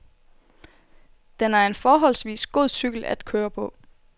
Den er en forholdsvis god cykel at køre på.